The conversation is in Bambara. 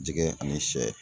Jɛgɛ ani sɛ